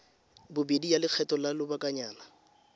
bobedi ya lekgetho la lobakanyana